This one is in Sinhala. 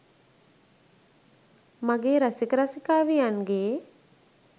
මගේ රසික රසිකාවියන්ගේ